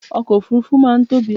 ọkọ̀ òfurufú máà ń tóbi